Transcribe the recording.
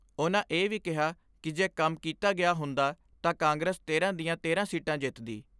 ਉਨ੍ਹਾਂ ਇਹ ਵੀ ਕਿਹਾ ਕਿ ਜੇ ਕੰਮ ਕੀਤਾ ਗਿਆ ਹੁੰਦਾ ਤਾਂ ਕਾਂਗਰਸ ਤੇਰਾਂ ਦੀਆਂ ਤੇਰਾਂ ਸੀਟਾ ਜਿੱਤਦੀ।